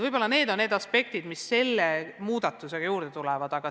Võib-olla need on olulisimad aspektid, mis selle muudatusega juurde tulevad.